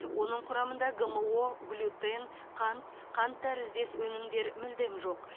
оның құрамында гмо глютен қант қант тәріздес өнімдер мүлдем жоқ